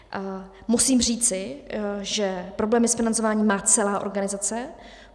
Musím říct, že problémy s financováním má celá organizace.